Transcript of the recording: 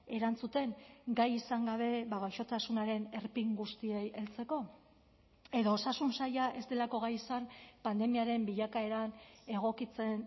erantzuten gai izan gabe gaixotasunaren erpin guztiei heltzeko edo osasun saila ez delako gai izan pandemiaren bilakaeran egokitzen